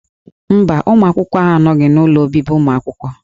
Mba, ụmụ akwụkwọ ahụ anọghị n'ụlọ obibi ụmụ akwụkwọ.